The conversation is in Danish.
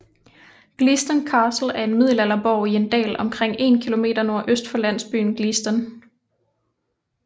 Gleaston Castle er en middelalderborg i en dal omkring 1 km nordøst for landsbyen Gleaston